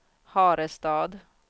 Harestad